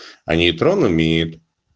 а нейтронами